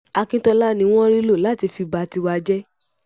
akíntola ni wọ́n rí lò láti fi ba tiwa jẹ́